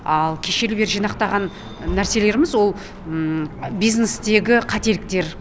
ал кешелі бері жинақталған нәрселеріміз ол бизнестегі қателіктер